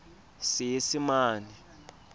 seesimane